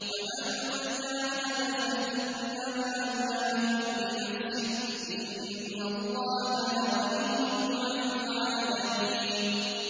وَمَن جَاهَدَ فَإِنَّمَا يُجَاهِدُ لِنَفْسِهِ ۚ إِنَّ اللَّهَ لَغَنِيٌّ عَنِ الْعَالَمِينَ